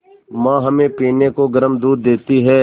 माँ हमें पीने को गर्म दूध देती हैं